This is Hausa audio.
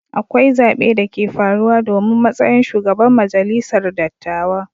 Akwai zabe da ke farruwa domin matsayin shugaban majalisar dattawa.